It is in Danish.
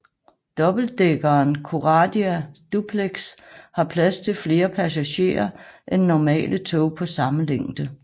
Dobbeltdækkeren Coradia Duplex har plads til flere passagerer end normale tog på samme længde